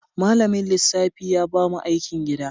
Malamin lissafi ya ba mu aikin gida.